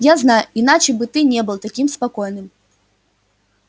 я знаю иначе бы ты не был таким спокойным